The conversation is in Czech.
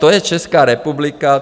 To je Česká republika.